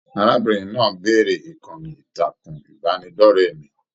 Arábìnrin náà béèrè ìkànnì ìtàkùn ìbánidọ̀rẹ̀ mí.